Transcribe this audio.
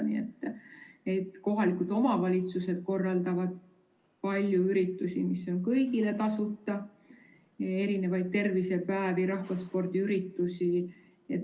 Nii et kohalikud omavalitsused korraldavad palju üritusi, mis on kõigile tasuta: tervisepäevi, rahvaspordiüritusi.